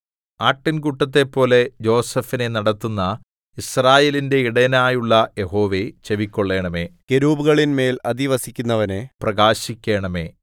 ആട്ടിൻകൂട്ടത്തെപ്പോലെ യോസേഫിനെ നടത്തുന്ന യിസ്രായേലിന്റെ ഇടയനായുള്ള യഹോവേ ചെവിക്കൊള്ളണമേ കെരൂബുകളിന്മേൽ അധിവസിക്കുന്നവനേ പ്രകാശിക്കണമേ